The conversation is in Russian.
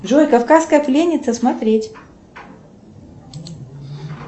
джой кавказская пленница смотреть